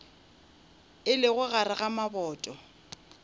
e lego gare ga maboto